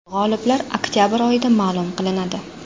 G‘oliblar oktabr oyida ma’lum qilinadi.